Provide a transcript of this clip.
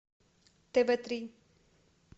тв три